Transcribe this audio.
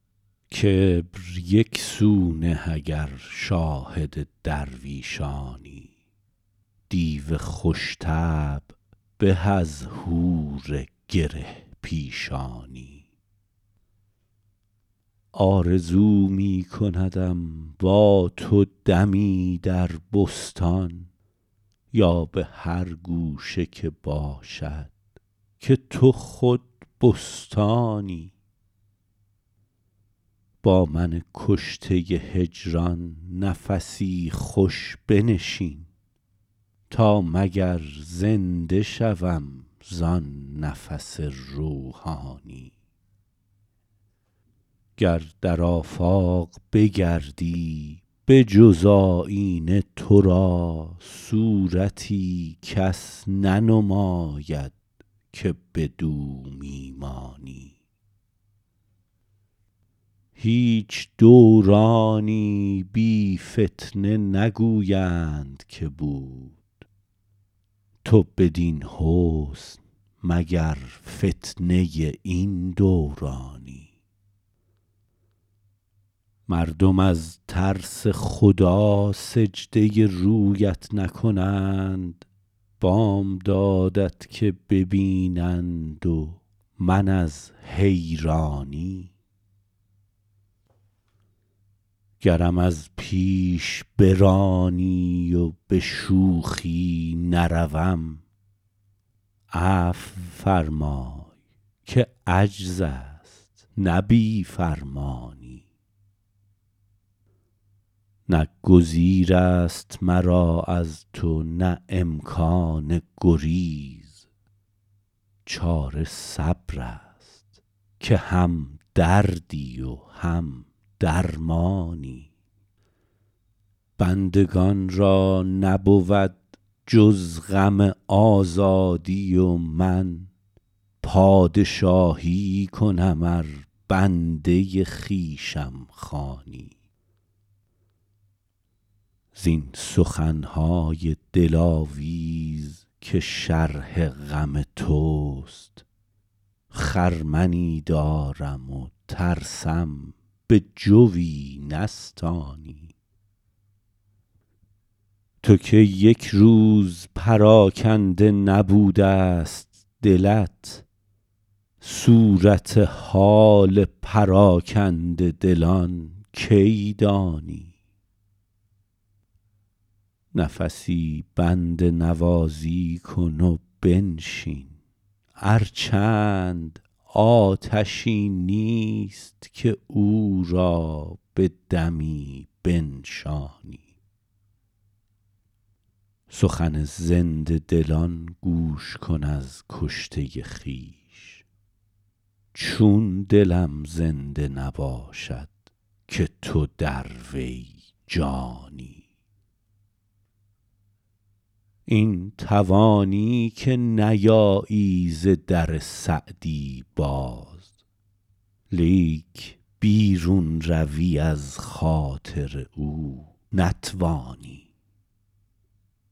کبر یک سو نه اگر شاهد درویشانی دیو خوش طبع به از حور گره پیشانی آرزو می کندم با تو دمی در بستان یا به هر گوشه که باشد که تو خود بستانی با من کشته هجران نفسی خوش بنشین تا مگر زنده شوم زآن نفس روحانی گر در آفاق بگردی به جز آیینه تو را صورتی کس ننماید که بدو می مانی هیچ دورانی بی فتنه نگویند که بود تو بدین حسن مگر فتنه این دورانی مردم از ترس خدا سجده رویت نکنند بامدادت که ببینند و من از حیرانی گرم از پیش برانی و به شوخی نروم عفو فرمای که عجز است نه بی فرمانی نه گزیر است مرا از تو نه امکان گریز چاره صبر است که هم دردی و هم درمانی بندگان را نبود جز غم آزادی و من پادشاهی کنم ار بنده خویشم خوانی زین سخن های دلاویز که شرح غم توست خرمنی دارم و ترسم به جوی نستانی تو که یک روز پراکنده نبوده ست دلت صورت حال پراکنده دلان کی دانی نفسی بنده نوازی کن و بنشین ار چند آتشی نیست که او را به دمی بنشانی سخن زنده دلان گوش کن از کشته خویش چون دلم زنده نباشد که تو در وی جانی این توانی که نیایی ز در سعدی باز لیک بیرون روی از خاطر او نتوانی